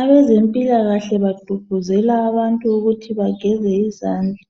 Abezempilakahle bagqugquzela abantu kuthi bageze izandla